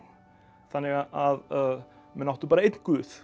þannig að menn áttu bara einn guð